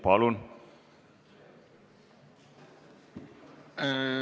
Palun!